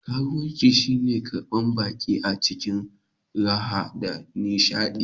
Ƙarumci shi ne karban baƙi a cikin raha da nishadi